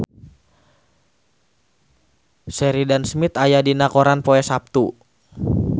Sheridan Smith aya dina koran poe Saptu